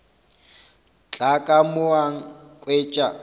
tla ka mo a nkhwetša